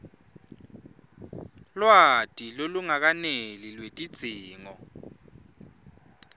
lwati lolungakeneli lwetidzingo